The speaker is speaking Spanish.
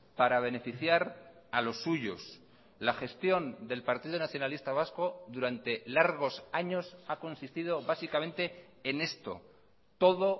para beneficiar a los suyos la gestión del partido nacionalista vasco durante largos años ha consistido básicamente en esto todo